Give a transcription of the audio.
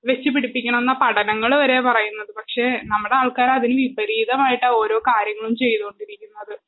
വെച്ച് പിടിപ്പിക്കണമെന്നാ പഠനങ്ങള് വരെ പറയുന്നത് പക്ഷെ നമ്മടാൾക്കാരതിന് വിപരീതമായിട്ടാ ഓരോ കാര്യങ്ങളും ചെയ്തോണ്ടിരിക്കുന്നത്